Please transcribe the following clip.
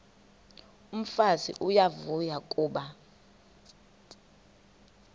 umfazi uyavuya kuba